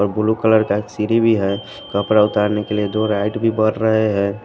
और blue colour का एक सिरी भी है कपड़ा उतारने के लिए दो राइट भी बढ़ रहे हैं।